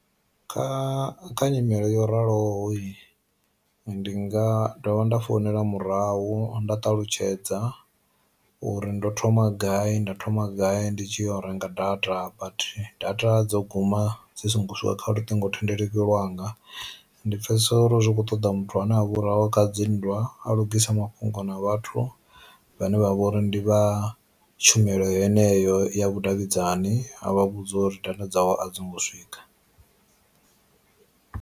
Kha kha nyimele yo raloho ndi nga dovha nda founela murahu nda ṱalutshedza uri ndo thoma gai nda thoma gai ndi tshi ya u renga data but data dzo guma dzi songo swika kha luṱingothendeleki lwanga, ndi pfesesa uri zwi kho ṱoḓa muthu ane hahu kha dzi nndwa a lugise mafhungo na vhathu vhane vha vha uri ndi vha tshumelo yeneyo ya vhudavhidzani a vha vhudza uri data dzawe a dzingo swika.